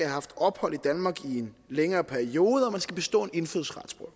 haft ophold i danmark i en længere periode og at man skal bestå en indfødsretsprøve